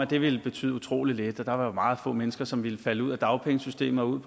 det ville betyde utrolig lidt at der var meget få mennesker som ville falde ud af dagpengesystemet og ud